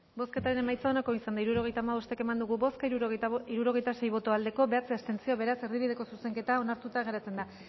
bozketaren emaitza onako izan da hirurogeita hamabost eman dugu bozka hirurogeita sei boto aldekoa bederatzi abstentzio beraz erdibideko zuzenketa onartuta geratzen da